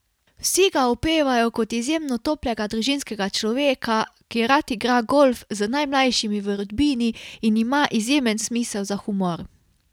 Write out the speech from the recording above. Vsi ga opevajo kot izjemno toplega družinskega človeka, ki rad igra golf z najmlajšimi v rodbini in ima izjemen smisel za humor.